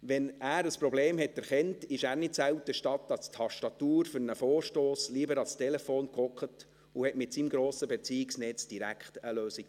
Wenn er ein Problem erkannte, setzte er sich nicht selten statt für einen Vorstoss an die Tastatur lieber ans Telefon und suchte mit seinem grossen Beziehungsnetz direkt nach einer Lösung.